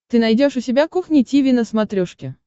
ты найдешь у себя кухня тиви на смотрешке